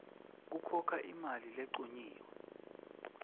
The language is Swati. khokha imali lencunyiwe